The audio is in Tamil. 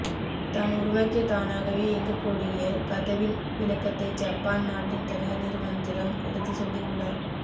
தான் உருவாக்கிய தானாகவே இயங்கக்கூடிய கதவின் விளக்கத்தை ஜப்பான் நாட்டின் தனியார் நிறுவனத்திடம் எடுத்து சொல்லி உள்ளார்